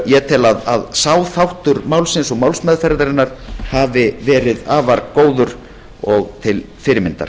ég tel þann þátt málsins og málsmeðferðarinnar hafa verið afar góðan og til fyrirmyndar